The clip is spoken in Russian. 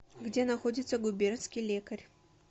где находится губернский лекарь